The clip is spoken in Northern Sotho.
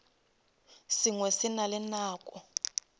sengwe se na le nako